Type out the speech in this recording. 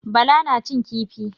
Bala na cin kifi.